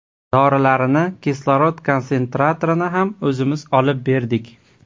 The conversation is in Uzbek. Dorilarini, kislorod konsentratorini ham o‘zimiz olib berdik.